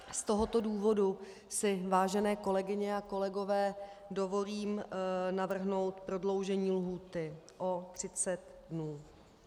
Z tohoto důvodu si, vážené kolegyně a kolegové, dovolím navrhnout prodloužení lhůty o 30 dnů.